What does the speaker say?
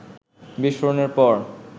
বিস্ফোরণের পর